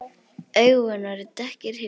Augun voru dökkir hyljir.